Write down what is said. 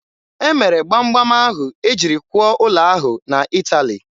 E mere gbam gbam ahụ e jiri kwụọ ụlọ ahụ na Ịtali.